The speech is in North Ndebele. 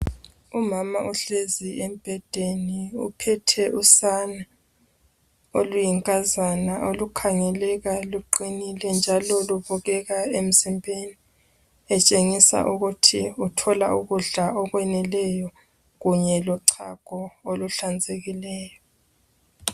Umama uhlezi embhedeni, uphethe usane oluyinkazana olukhangeleka luqinile njalo lubukeka emzimbeni, etshengisa ukuthi uthola ukudla okweneleyo kunye lochago olunhlanzekileyo.